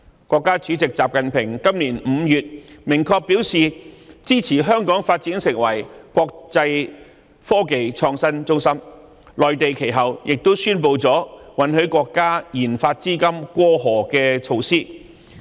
國家主席習近平今年5月明確表示，支持香港發展成為國際科技創新中心，其後內地亦宣布允許國家科研資金"過河"的措施。